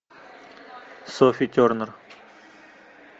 софи тернер